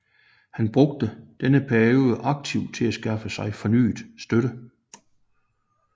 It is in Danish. Han brugte denne periode aktivt til at skaffe sig fornyet støtte